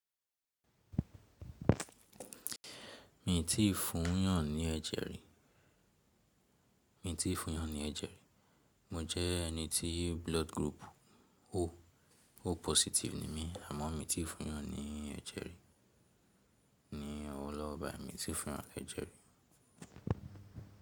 Mi ò tí ì fún yàn ní ẹ̀jẹ̀ rí. Mo jẹ́ ẹni tí blood group O, O positive ni mí àmọ́ mi ò tí ì fún yàn ní ẹ̀jẹ̀ rí Mi ò tí fún yàn ní ẹ̀jẹ̀ rí.